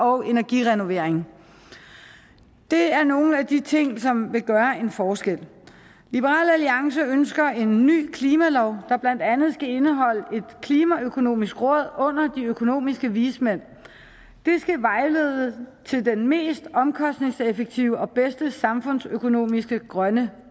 og energirenoveringer det er nogle af de ting som vil gøre en forskel liberal alliance ønsker en ny klimalov der blandt andet skal indeholde et klimaøkonomisk råd under de økonomiske vismænd det skal vejlede til den mest omkostningseffektive og bedste samfundsøkonomiske grønne